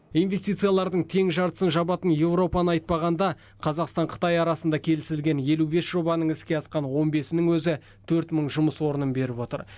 инвестициялардың тең жартысын жабатын еуропаны айтпағанда қазақстан қытай арасында келісілген елу бес жобаның іске асқан он бесінің өзі төрт мың жұмыс орнын беріп отыр